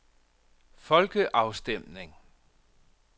folkeafstemning